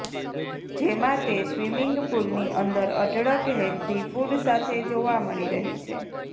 જેમાં તે સ્વીમિંગ પુલનીં અંદર અઢળક હેલ્ધી ફૂડ સાથે જોવા મળી રહી છે